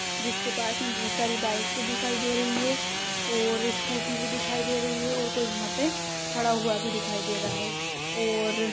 जिसके पास में बहुत सारी बाइके दिखाई दे रही हैं और स्कूटी भी दिखाई दे रही है और कोई वहां पे खड़ा हुआ भी दिखाई दे रहा है और --